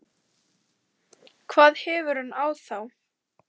hvað hefur hann á þá?